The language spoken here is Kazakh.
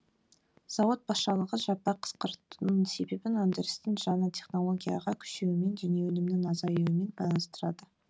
зауыт басшылығы жаппай қысқартудың себебін өндірістің жаңа технологияға көшуімен және өнімнің азаюымен байланыстырады